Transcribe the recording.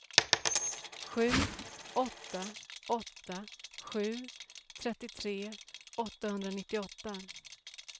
sju åtta åtta sju trettiotre åttahundranittioåtta